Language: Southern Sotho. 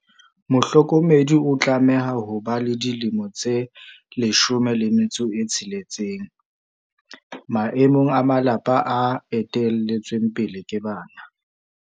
Mohlokomedi o tlameha ho ba le dilemo tse 16, maemong a malapa a ete lletsweng pele ke bana.